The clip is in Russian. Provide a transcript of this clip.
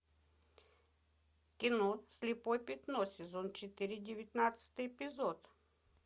кино слепое пятно сезон четыре девятнадцатый эпизод